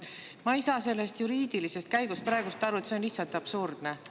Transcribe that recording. Ma ei saa sellest juriidilisest käigust praegu aru, see on lihtsalt absurdne.